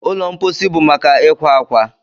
Ụlọ mposi bụ maka ịkwa akwa.